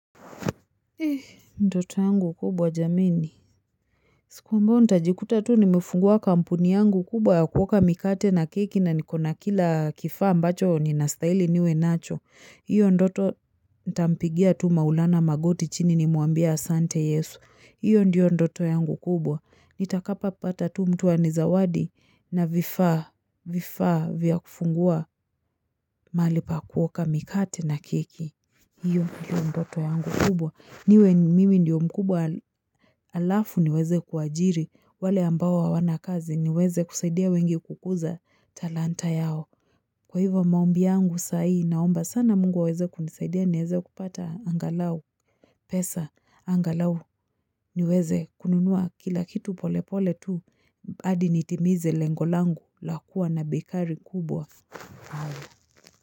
Ndoto yangu kubwa jameni. Siku ambayo nitajikuta tu nimefungua kampuni yangu kubwa ya kuoka mikate na keki na niko na kila kifaa ambacho ninastahili niwe nacho. Hiyo ndoto ntampigia tu maulana magoti chini nimwambia asante yesu. Hiyo ndiyo ndoto yangu kubwa. Nitakapopata tu mtu anizawadi na vifaa vya kufungua mahali pa kuoka mikate na keki. Hiyo ndiyo ndoto yangu kubwa. Niwe mimi ndio mkubwa alafu niweze kuwaajiri wale ambao hawana kazi niweze kusaidia wengi kukuza talanta yao. Kwa hivyo maombi yangu sai naomba sana mungu aweze kunisaidia niweze kupata angalau pesa. Angalau niweze kununua kila kitu pole pole tu. Hadi nitimize lengo langu la kuwa na bekari kubwa.